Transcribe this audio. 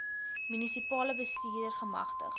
munisipale bestuurder gemagtig